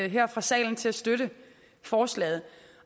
her fra salen til at støtte forslaget